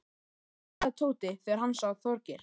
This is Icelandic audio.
galaði Tóti þegar hann sá Þorgeir.